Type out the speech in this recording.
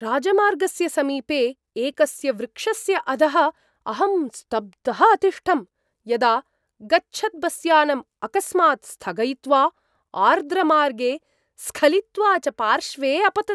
राजमार्गस्य समीपे एकस्य वृक्षस्य अधः अहं स्तब्धः अतिष्ठं, यदा गच्छत् बस्यानम् अकस्मात् स्थगयित्वा आर्द्र मार्गे स्खलित्वा च पार्श्वे अपपत्।